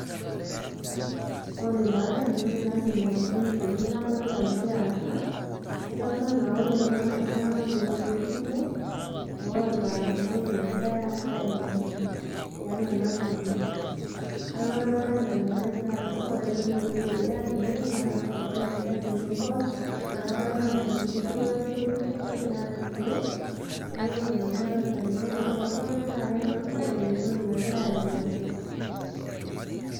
Ore taa entoki naidim atolimu tene nadolta aasa, kadolta anaa ore kulo naa iltunganak otii entumo oota entoki nagirae aimaki tiatua ena tumo .Niaku kadolta anaa ina nagira aasa ,ore ele otii dukuya tene naa loota enchati naibor naa kadolta anaa ninye duo olarikoni lenye ogira arikoo niaku ina nanu adolta tene. Niaku ore kulo tunganak naa ketonita eeta entoki nagira aimaki.